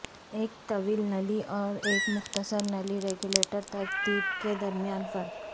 ایک طویل نلی اور ایک مختصر نلی ریگولیٹر ترتیب کے درمیان فرق